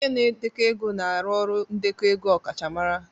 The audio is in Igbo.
Onye na-edekọ ego na-arụ ọrụ ndekọ ego ọkachamara